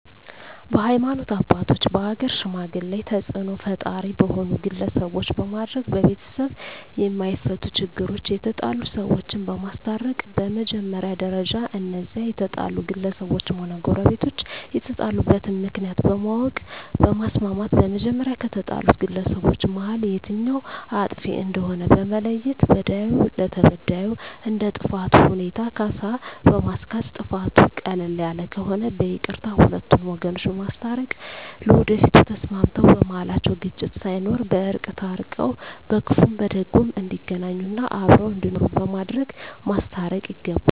በሀይማኖት አባቶች በሀገር ሽማግሌ ተፅእኖ ፈጣሪ በሆኑ ግለሰቦች በማድረግ በቤተሰብ የማፈቱ ችግሮች የተጣሉ ሰዎችን በማስታረቅ በመጀመሪያ ደረጃ እነዚያ የተጣሉ ግለሰቦችም ሆነ ጎረቤቶች የተጣሉበትን ምክንያት በማወቅ በማስማማት በመጀመሪያ ከተጣሉት ግለሰቦች መሀል የትኛዉ አጥፊ እንደሆነ በመለየት በዳዩ ለተበዳዩ እንደ ጥፋቱ ሁኔታ ካሳ በማስካስ ጥፋቱ ቀለል ያለ ከሆነ በይቅርታ ሁለቱን ወገኖች በማስታረቅ ለወደፊቱ ተስማምተዉ በመሀላቸዉ ግጭት ሳይኖር በእርቅ ታርቀዉ በክፉም በደጉም እንዲገናኙ እና አብረዉ እንዲኖሩ በማድረግ ማስታረቅ ይገባል